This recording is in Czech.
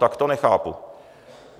Tak to nechápu.